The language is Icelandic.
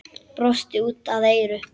Brosti út að eyrum.